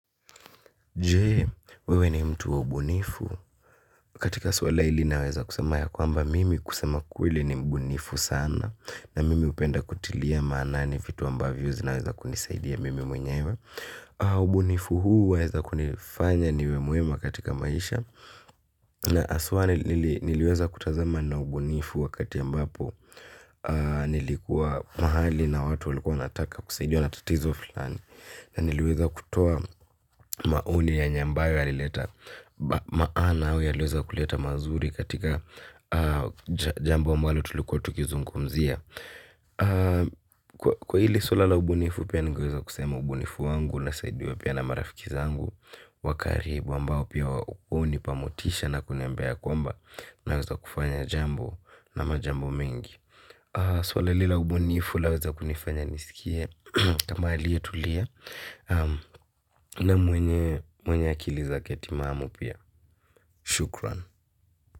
Jee, wewe ni mtu wa ubunifu? Katika swala ili naweza kusema ya kwamba mimi kusema kweli ni mbunifu sana. Na mimi upenda kutilia maanani fitu ambavyo zinaweza kunisaidia mimi mwenyewe. Ubunifu huu weza kunifanya niwe muema katika maisha na aswa niliweza kutazama na ubunifu wakati ambapo nilikuwa mahali na watu walikuwa wanataka kusaidiwa na tatizo fulani na niliweza kutoa maoni yenye ambayo yalileta maana au yaliweza kuleta mazuri katika jambo ambalo tulikuwa tukizungumzia. Kwa hili suala la ubunifu pia ningeweza kusema ubunifu wangu unasaidiwa pia na marafiki zangu wa karibu ambao pia unipamotisha na kuniambia kwamba naweza kufanya jambo na majambo mingi. Sulaa ili la ubunifu laweza kunifanya nisikie tama aliyetulia na mwenye akili zake timamu pia.